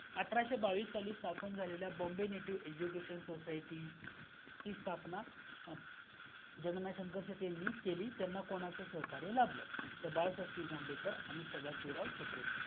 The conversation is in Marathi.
अठराशे बावीस साली स्थापन झालेल्या Bombay native education society ची स्थापना जगगनाथ शंकर शेटे यांनी केली, त्यांना कोणाच सहकार्य लाभल? तर बाळशास्त्री जांभेकर आणि सदाशिव राव छत्रे